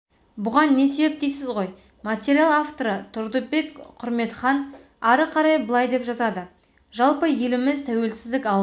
бұған не себеп дейсіз ғой материал авторытұрдыбек құрметханары қарай былай деп жазады жалпы еліміз тәуелсіздік алған